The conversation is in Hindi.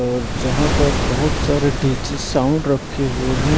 और जहाँ पर बहुत सारे डीजे साउंड रखे हुए हैं।